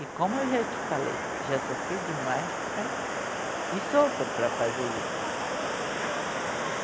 E como eu já te falei, já sofri demais para... E sofro para fazer isso.